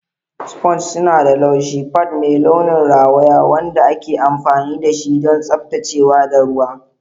Sponges suna da laushi, pad mai launin rawaya wanda ake amfani dashi don tsaftacewa da sha ruwa.